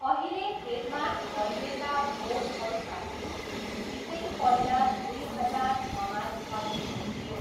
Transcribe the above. अहिले खेतमा ठडिएका बोटहरूका बिउ निकै पहिला दुई हजार छमा छरिएको थियो!